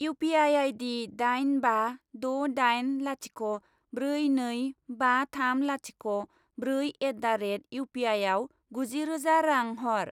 U P I ID दाइन बा द' दाइन लाथिख' ब्रै नै बा थाम लाथिख' ब्रै एट दा रेट इउपिआइआव गुजि रोजा रां हर।